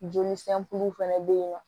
Joli fɛnɛ be yen nɔ